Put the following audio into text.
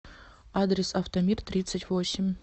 адрес автомиртридцатьвосемь